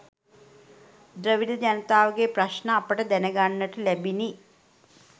ද්‍රවිඩ ජනතාවගේ ප්‍රශ්න අපට දැන ගන්නට ලැබිනි.